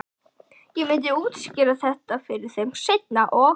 Ég myndi útskýra þetta fyrir þeim seinna- og